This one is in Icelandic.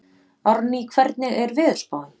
Árný, hvernig er veðurspáin?